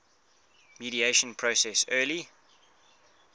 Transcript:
mediation process early